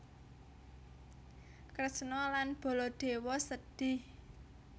Kresna lan Baladewa sedhih